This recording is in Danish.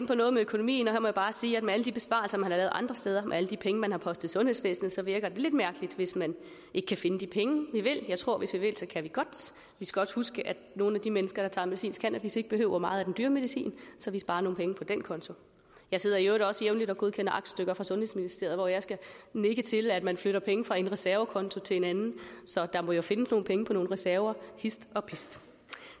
på noget med økonomien og jeg bare sige at med alle de besparelser man har lavet andre steder og med alle de penge man har postet i sundhedsvæsenet virker det lidt mærkeligt hvis man ikke kan finde de penge vi vil finde jeg tror at hvis vi vil kan vi godt vi skal også huske at nogle af de mennesker der tager medicinsk cannabis ikke behøver meget af den dyre medicin så vi sparer nogle penge på den konto jeg sidder i øvrigt også jævnligt og godkender aktstykker fra sundhedsministeriet hvor jeg skal nikke til at man flytter penge fra en reservekonto til en anden så der må jo findes nogle penge på nogle reserver hist og pist